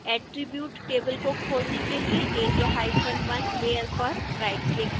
attribute table को खोलने के लिए area1 लेयर पर राइटक्लिक करें